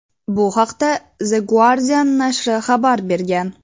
Bu haqda "The Guardian" nashri xabar bergan.